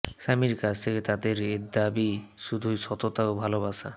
স্বামীর কাছ থেকে এদের দাবি শুধুই সততা ও ভালোবাসা